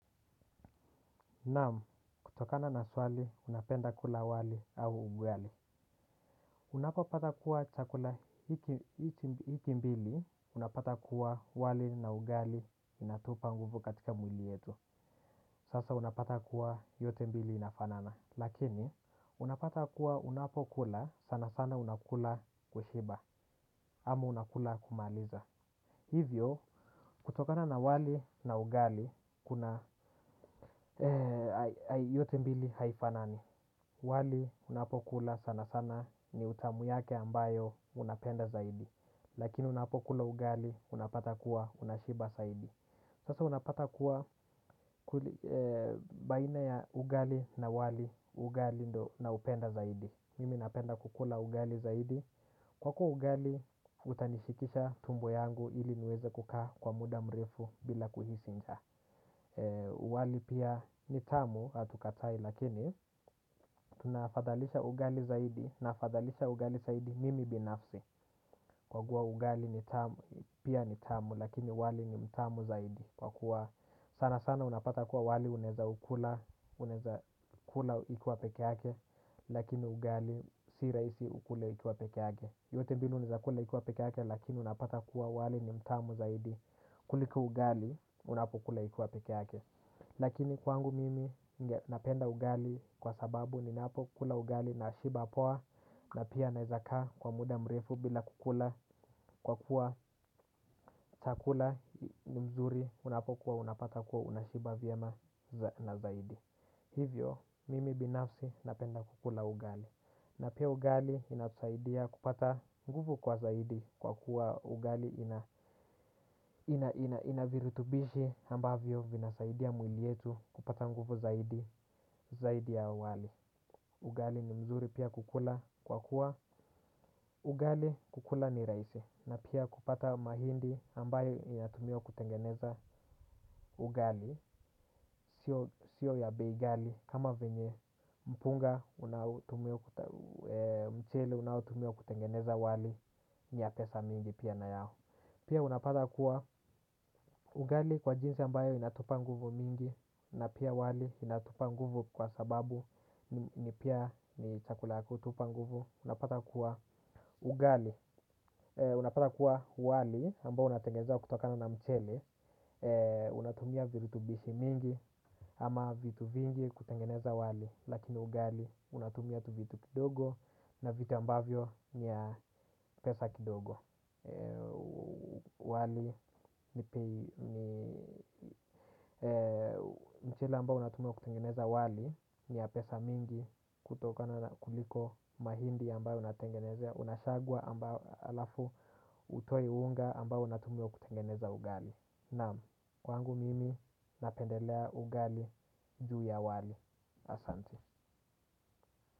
Naam, kutokana na swali, napenda kula wali au ugali unapo pata kuwa chakula hiki mbili, unapata kuwa wali na ugali inatupa nguvu katika mwili yetu. Sasa unapata kuwa yote mbili inafanana. Lakini, unapata kuwa unapo kula, sana sana unakula kushiba ama unakula kumaliza. Hivyo, kutokana na wali na ugali, kuna yote mbili haifanani. Wali unapokula sana sana ni utamu yake ambayo unapenda zaidi. Lakini unapokula ugali unapata kuwa unashiba zaidi. Sasa unapata kuwa baina ya ugali na wali ugali ndo na upenda zaidi. Mimi napenda kukula ugali zaidi. Kwako ugali utanishikisha tumbo yangu ili niweze kukaa kwa muda mrefu bila kuhisi njaa. Wali pia ni tamu hatukatai lakini tunafadhalisha ugali zaidi nafadhalisha ugali zaidi mimi binafsi. Kwa kuwa ugali ni tamu pia ni tamu lakini wali ni mtamu zaidi. Kwa kuwa sana sana unapata kuwa wali unaweza ukula ikuwa peke yake. Lakini ugali si rahisi ukule ikiwa peke yake yote mbili unawezakula ata kuwa wali ni mtamu zaidi. Kuliko ugali unapokula ikuwa peke yake. Lakini kwangu mimi napenda ugali kwa sababu ninapo kula ugali nashiba poa na pia naezakaa kwa muda mrefu bila kukula kwa kuwa chakula ni mzuri unapokuwa unapata kuwa unashiba vyema na zaidi. Hivyo mimi binafsi napenda kukula ugali. Na pia ugali inatusaidia kupata nguvu kwa zaidi kwa kuwa ugali ina ina virutubishi ambavyo vinasaidia mwili yetu kupata nguvu zaidi ya awali ugali ni mzuri pia kukula kwa kuwa ugali kukula ni rahisi na pia kupata mahindi ambayo inatumiwa kutengeneza ugali sio ya bei ghali kama venye mpunga mchele unaotumiwa kutengeneza wali ni ya pesa mingi pia na yao pia unapata kuwa ugali kwa jinsi ambayo inatupa nguvu mingi na pia wali inatupa nguvu kwa sababu ni pia ni chakula kutupa nguvu. Unapata kuwa ugali. Unapata kuwa wali ambao unatengeza kutokana na mcheli. Unatumia virutubishi mingi ama vitu vingi kutengeneza wali. Lakini ugali unatumia tu vitu kidogo na vitu ambavyo ni ya pesa kidogo mchele ambao unatumiwa kutengeneza wali. Ni ya pesa mingi kutokana kuliko mahindi ambayo unatengenezea. Unasagwa halafu utoi unga ambao unatumwua kutengeneza ugali. Naam kwangu mimi napendelea ugali juu ya wali Asanti.